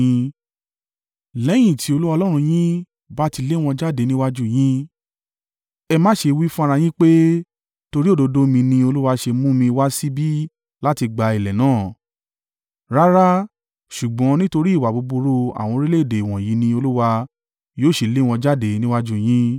Lẹ́yìn tí Olúwa Ọlọ́run yín bá ti lé wọn jáde níwájú u yín, ẹ má ṣe wí fún ara yín pé, “Torí òdodo mi ní Olúwa ṣe mú mi wá síbí láti gba ilẹ̀ náà.” Rárá, ṣùgbọ́n nítorí ìwà búburú àwọn orílẹ̀-èdè wọ̀nyí ni Olúwa yóò ṣe lé wọn jáde níwájú u yín.